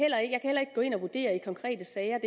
gå ind og vurdere i konkrete sager